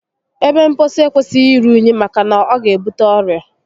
Ebe mposi ekwesịghị iru únyí maka na ọ ga ebute ọrịa